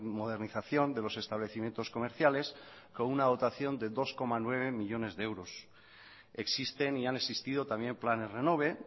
modernización de los establecimientos comerciales con una dotación de dos coma nueve millónes de euros existen y han existido también planes renove